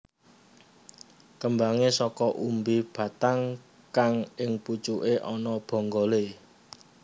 Kembangé saka umbi batang kang ing pucuke ana bonggolé